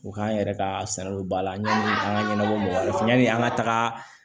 O k'an yɛrɛ ka salon ba la yanni an ka ɲɛnabɔ mɔgɔ fɛ yanni an ka taga